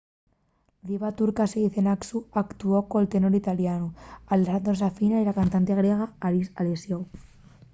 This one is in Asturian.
la diva turca sezen aksu actuó col tenor italianu alessandro safina y la cantante griega haris alexiou